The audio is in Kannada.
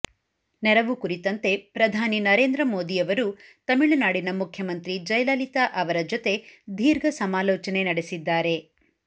ನೆರವು ಕುರಿತಂತೆ ಪ್ರಧಾನಿ ನರೇಂದ್ರ ಮೋದಿ ಅವರು ತಮಿಳುನಾಡಿನ ಮುಖ್ಯಮಂತ್ರಿ ಜಯಲಲಿತಾ ಅವರ ಜೊತೆ ದೀರ್ಘ ಸಮಾಲೋಚನೆ ನಡೆಸಿದ್ದಾರೆ